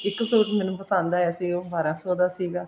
ਇੱਕ suit ਮੈਨੂੰ ਪਸੰਦ ਆਇਆ ਸੀ ਉਹ ਬਾਰਾਂ ਕ ਸੋ ਦਾ ਸੀਗਾ